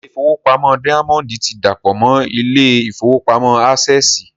Ilé ìfowópamọ́ dáyámọ́ndì ti dàpọ̀ mọ́ ilé ìfowópamọ́ ásẹ̀sì